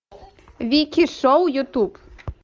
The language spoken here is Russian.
вики шоу ютуб